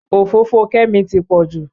Òfófó Kẹ́mi ti pọ̀ jù